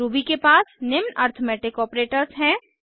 Ruby के पास निम्न अरिथ्मेटिक ऑपरेटर्स हैं